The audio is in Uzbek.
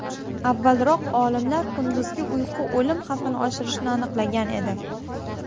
Avvalroq olimlar kunduzgi uyqu o‘lim xavfini oshirishini aniqlagan edi .